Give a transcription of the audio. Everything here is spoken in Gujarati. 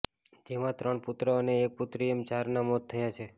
જેમાં ત્રણ પુત્ર અને એક પુત્રી એમ ચારના મોત થયા છે